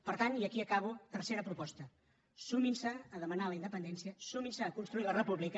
per tant i aquí acabo tercera proposta sumin se a demanar la independència sumin se a construir la república